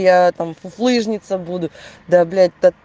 я там фуфлыжница буду да блять так